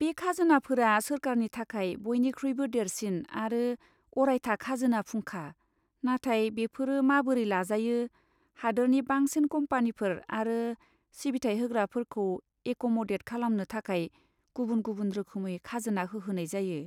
बे खाजोनाफोरा सोरखारनि थाखाय बयनिख्रुइबो देरसिन आरो अरायथा खाजोना फुंखा, नाथाय बेफोरो माबोरै लाजायो, हादोरनि बांसिन कम्पानिफोर आरो सिबिथाइ होग्राफोरखौ एक'मदेद खालामनो थाखाय गुबुन गुबुन रोखोमै खाजोना होहोनाय जायो।